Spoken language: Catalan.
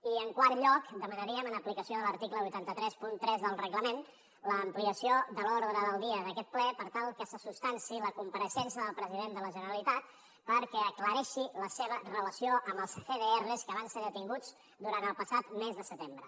i en quart lloc demanaríem en aplicació de l’article vuit cents i trenta tres del reglament l’ampliació de l’ordre del dia d’aquest ple per tal que se substanciï la compareixença del president de la generalitat perquè aclareixi la seva relació amb els cdrs que van ser detinguts durant el passat mes de setembre